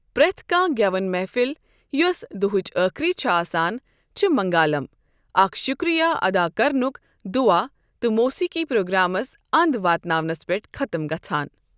پرٛٮ۪تھ کانٛہہ گٮ۪وَن محفل یۄس دُہٕچ أخری چھ آسان چھِ منگالم، اکھ شکریہ ادا کرنُک دُعا تہٕ موسیقی پروگرامَس انٛد واتناونَس پٮ۪ٹھ ختم گژھان۔